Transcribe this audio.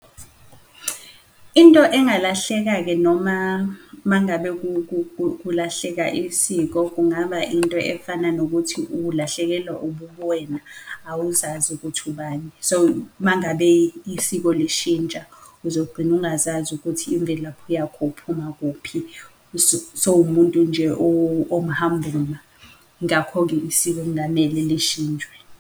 Into engalahleka-ke noma mangabe kulahleka isiko, kungaba into efana nokuthi ulahlekelwa ububwena awuzazi ukuthi ubani, so mangabe isiko lishintsha, uzogcina ungazazi ukuthi imvelaphi yakho uphuma kuphi, sowumuntu nje omhamba uma. Ngakho-ke isiko kungamele lishintshwe.